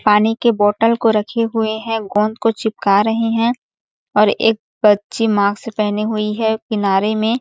पानी के बोटल को रखे हुए है गोंद को चिपका रहे हैं और एक बच्ची मास्क पहनी हुई हैं किनारे में--